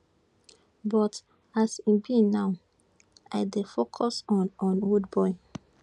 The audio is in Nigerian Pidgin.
but as e be now i dey focus on on rudeboy